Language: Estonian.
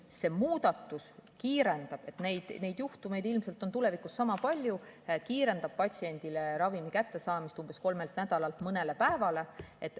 See muudatus kiirendab – neid juhtumeid ilmselt on tulevikus sama palju – patsiendil ravimi kättesaamist, umbes kolme nädala asemel toimub see mõne päevaga.